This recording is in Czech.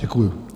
Děkuji.